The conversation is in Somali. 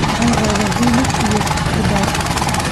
Waxaan rabaa hilib iyo khudaar.